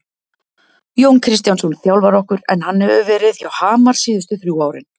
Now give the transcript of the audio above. Jón Kristjánsson þjálfar okkur en hann hefur verið hjá Hamar síðustu þrjú árin.